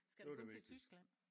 Skal du kun til Tyskland?